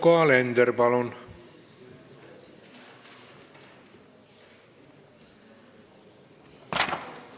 Yoko Alender, palun!